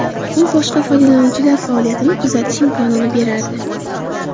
U boshqa foydalanuvchilar faoliyatini kuzatish imkonini berardi.